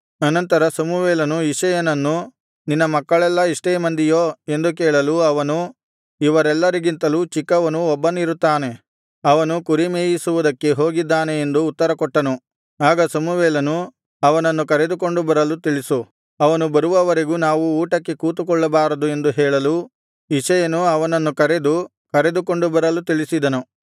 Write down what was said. ಅನಂತರ ಸಮುವೇಲನು ಇಷಯನನ್ನು ನಿನ್ನ ಮಕ್ಕಳೆಲ್ಲಾ ಇಷ್ಟೇ ಮಂದಿಯೋ ಎಂದು ಕೇಳಲು ಅವನು ಇವರೆಲ್ಲರಿಗಿಂತಲೂ ಚಿಕ್ಕವನು ಒಬ್ಬನಿರುತ್ತಾನೆ ಅವನು ಕುರಿಮೇಯಿಸುವುದಕ್ಕೆ ಹೋಗಿದ್ದಾನೆ ಎಂದು ಉತ್ತರಕೊಟ್ಟನು ಆಗ ಸಮುವೇಲನು ಅವನನ್ನು ಕರೆದುಕೊಂಡು ಬರಲು ತಿಳಿಸು ಅವನು ಬರುವವರೆಗೂ ನಾವು ಊಟಕ್ಕೆ ಕುಳಿತುಕೊಳ್ಳಬಾರದು ಎಂದು ಹೇಳಲು ಇಷಯನು ಅವನನ್ನು ಕರೆದು ಕರೆದುಕೊಂಡು ಬರಲು ತಿಳಿಸಿದನು